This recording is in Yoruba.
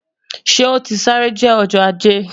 Ṣe o ti sare jẹ Ọjọ Aje?